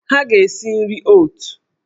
Ha ga-si nri oot!